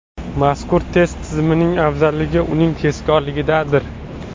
Mazkur test tizimining afzalligi uning tezkorligidadir.